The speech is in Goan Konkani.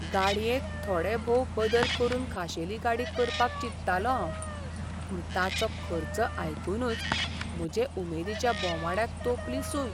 गाडयेंत थोडेभोव बदल करून खाशेली गाडी करपाक चिंत्तालों हांव. पूण ताचो खर्च आयकूनच म्हजे उमेदीच्या बोमाड्याक तोंपली सूय...